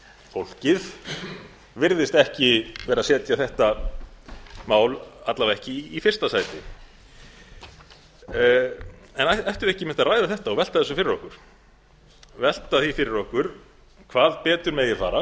fólkið virðist að minnsta kosti ekki setja þetta mál í fyrsta sæti ættum við ekki einmitt að ræða þetta og velta því fyrir okkur hvað betur megi fara